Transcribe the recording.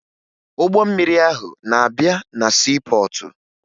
Ụgbọ mmiri ahụ na-abịa na siipọọtụ